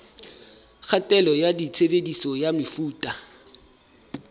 kgatello ya tshebediso ya mefuta